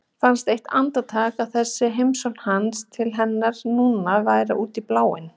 Fannst eitt andartak að þessi heimsókn hans til hennar núna væri út í bláinn.